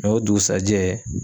o dugusajɛ